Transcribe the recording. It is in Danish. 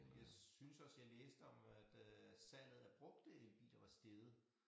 Jeg synes også jeg læste om at øh salget af brugte elbiler var steget